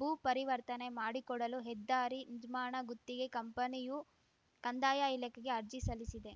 ಭೂ ಪರಿವರ್ತನೆ ಮಾಡಿಕೊಡಲು ಹೆದ್ದಾರಿ ನಿರ್ಮಾಣ ಗುತ್ತಿಗೆ ಕಂಪನಿಯು ಕಂದಾಯ ಇಲಾಖೆಗೆ ಅರ್ಜಿ ಸಲ್ಲಿಸಿದೆ